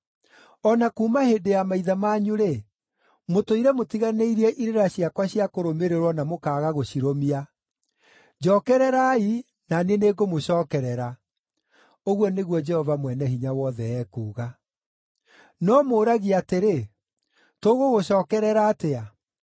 O na kuuma hĩndĩ ya maithe manyu-rĩ, mũtũire mũtiganĩirie irĩra ciakwa cia kũrũmĩrĩrwo na mũkaaga gũcirũmia. Njookererai na niĩ nĩngũmũcookerera.” Ũguo nĩguo Jehova Mwene-Hinya-Wothe ekuuga. “No mũũragia atĩrĩ, ‘Tũgũgũcookerera atĩa?’